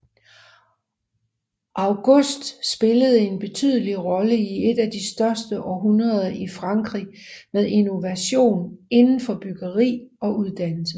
August spillede en betydelig rolle i et af de største århundreder i Frankrig med innovation inden for byggeri og uddannelse